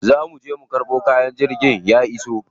Za muje mu karɓo kaya, jirgin ya iso.